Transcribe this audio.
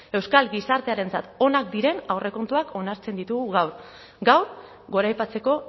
euskal gizartearentzat onak diren aurrekontuak onartzen ditugu gaur gaur goraipatzeko